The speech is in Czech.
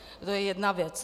To je jedna věc.